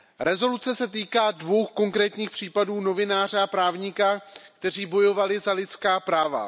Rezoluce se týká dvou konkrétních případů novináře a právníka, kteří bojovali za lidská práva.